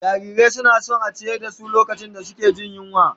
Jarirai suna son a ciyar da su lokacin da suke jin yunwa